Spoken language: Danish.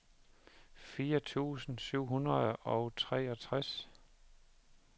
fire tusind syv hundrede og treogtres